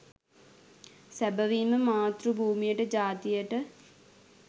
සැබවින්ම මාතෘ භූමියට ජාතියට